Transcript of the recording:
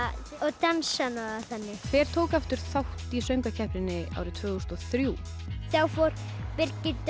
dansana og þannig hver tók þátt í söngvakeppninni árið tvö þúsund og þrjú þá fór Birgitta